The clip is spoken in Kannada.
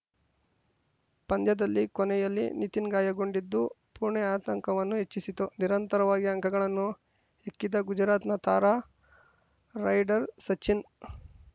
ಪಂದ್ಯದಲ್ಲಿ ಕೊನೆಯಲ್ಲಿ ನಿತಿನ್‌ ಗಾಯಗೊಂಡಿದ್ದು ಪುಣೆ ಆತಂಕವನ್ನು ಹೆಚ್ಚಿಸಿತು ನಿರಂತರವಾಗಿ ಅಂಕಗಳನ್ನು ಹೆಕ್ಕಿದ ಗುಜರಾತ್‌ನ ತಾರಾ ರೈಡರ್‌ ಸಚಿನ್‌